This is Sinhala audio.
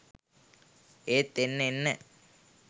ඒත් එන්න එන්න